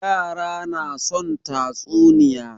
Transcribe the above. Yara na son tatsuniya.